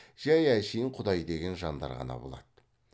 жай әшейін құдай деген жандар ғана болады